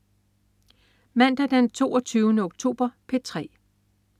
Mandag den 22. oktober - P3: